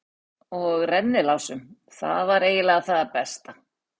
Og rennilásum- það var eiginlega það besta.